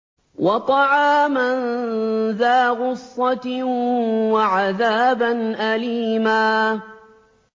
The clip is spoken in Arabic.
وَطَعَامًا ذَا غُصَّةٍ وَعَذَابًا أَلِيمًا